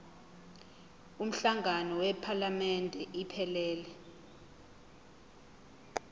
umhlangano wephalamende iphelele